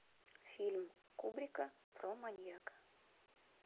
фильм кубрика про маньяка